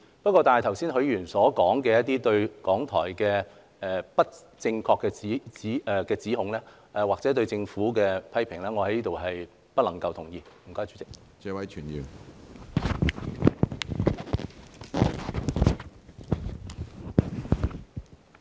不過，許議員剛才對於港台作出的不正確指控，或對政府的批評，我在此表示不能同意。